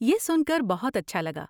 یہ سن کر بہت اچھا لگا۔